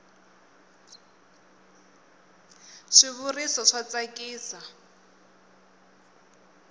swi vuriso swa tsakisa